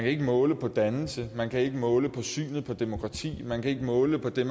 ikke måle på dannelse man kan ikke måle på synet på demokrati man kan ikke måle på det